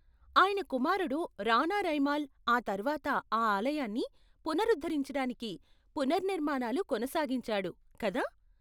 ఆయన కుమారుడు రాణా రైమాల్ ఆ తర్వాత ఆ ఆలయాన్ని పునరుద్ధరించటానికి, పునర్నిర్మాణాలు కొనసాగించాడు, కదా?